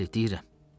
Bəli, deyirəm.